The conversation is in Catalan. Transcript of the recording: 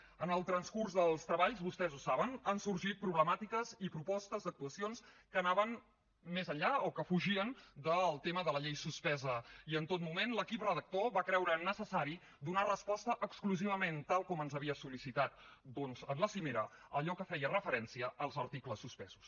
en el transcurs dels treballs vostès ho saben han sorgit problemàtiques i propostes d’actuacions que anaven més enllà o que fugien del tema de la llei suspesa i en tot moment l’equip redactor va creure necessari donar resposta exclusivament tal com ens havia sol·licitat doncs en la cimera a allò que feia referència als articles suspesos